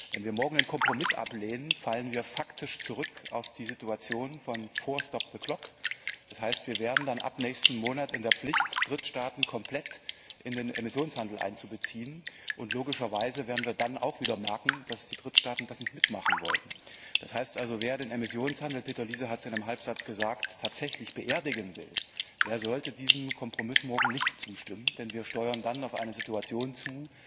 Wenn wir morgen den Kompromiss ablehnen, fallen wir faktisch zurück auf die Situation von vor stop the clock das heißt, wir wären dann ab nächsten Monat in der Pflicht, Drittstaaten komplett in den Emissionshandel einzubeziehen, und logischerweise werden wir dann auch wieder merken, dass die Drittstaaten das nicht mitmachen wollen. Das heißt also, wer den Emissionshandel Peter Liese hat es in einem Halbsatz gesagt tatsächlich beerdigen will, der sollte diesem Kompromiss morgen nicht zustimmen, denn wir steuern dann auf eine Situation zu,